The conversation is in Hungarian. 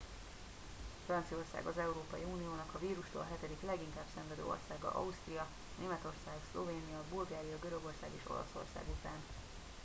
franciaország az európai uniónak a vírustól hetedik leginkább szenvedő országa ausztria németország szlovénia bulgária görögország és olaszország után